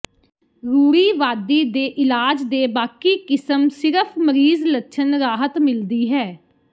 ਰੂੜੀਵਾਦੀ ਦੇ ਇਲਾਜ ਦੇ ਬਾਕੀ ਕਿਸਮ ਸਿਰਫ ਮਰੀਜ਼ ਲੱਛਣ ਰਾਹਤ ਮਿਲਦੀ ਹੈ